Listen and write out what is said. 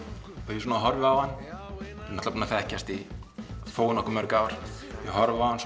ég horfi á hann við erum búnir að þekkjast í þó nokkuð mörg ár ég horfi á hann